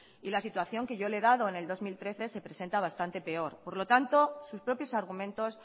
y la situación que yo le he dado en el dos mil trece se presenta bastante peor por lo tanto sus propios argumentos